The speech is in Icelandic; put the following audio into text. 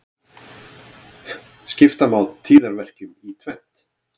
Skipta má tíðaverkjum í tvennt.